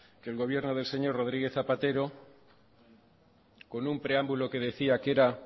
que el gobierno del señor rodríguez zapatero con un preámbulo que decía que era